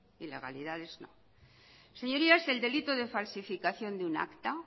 ilegalidades no señorías el delito de falsificación de un acta